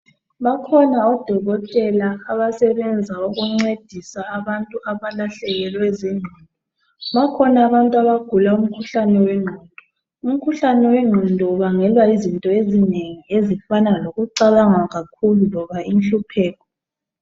bakhona odokotela abasebenza ukuncedisa abantu aba lahlekelwe zinqondo bakhona abantu abagula umkhuhlane wenqondo umkhuhlae wenqondo ubangelwa yizindo ezinengi ezifana lokucabanga kakhu loba inhlupheko